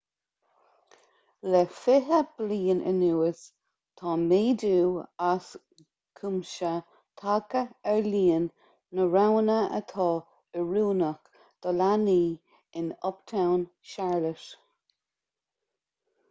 le 20 bliain anuas tá méadú as cuimse tagtha ar líon na roghanna atá oiriúnach do leanaí in uptown charlotte